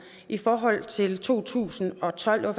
i forhold til to tusind og tolv der